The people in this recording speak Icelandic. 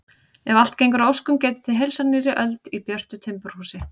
Ef allt gengur að óskum getið þið heilsað nýrri öld í björtu timburhúsi.